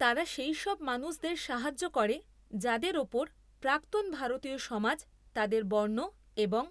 তারা সেই সব মানুষদের সাহায্য করে যাদের ওপর প্রাক্তন ভারতীয় সমাজ তাদের বর্ণ এবং